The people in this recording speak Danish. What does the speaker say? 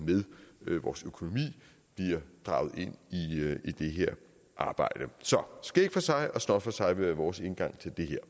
med vores økonomi bliver draget ind i det her arbejde så skæg for sig og snot for sig vil være vores indgang til det her